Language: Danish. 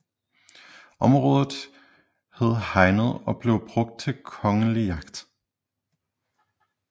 Området hed Hegnet og blev brugt til kongelig jagt